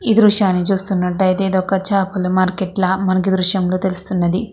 ఈ దృశ్యాన్ని చూసినట్లయితే ఇది ఒక చాపల మార్కెట్లో మనకి తెలుస్తుంది.